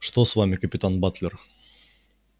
что с вами капитан батлер